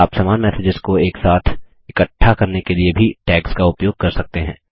आप समान मैसेजेस को एक साथ इकट्ठा करने के लिए भी टैग्स का उपयोग कर सकते हैं